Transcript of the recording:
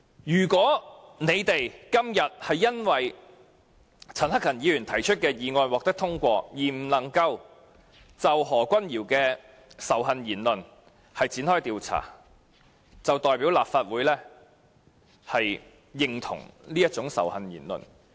如果今天陳克勤議員提出的議案獲得通過，我們無法就何君堯議員的仇恨言論展開調查，便代表立法會也認同這種仇恨言論。